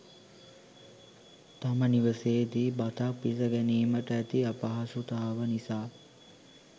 තම නිවසේ දී බතක් පිසගැනීමට ඇති අපහසුතාව නිසා